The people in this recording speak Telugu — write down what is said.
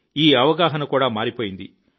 ఈ అవగాహన కూడా మారిపోయింది